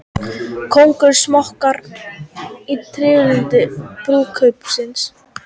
Konunglegir smokkar í tilefni brúðkaupsins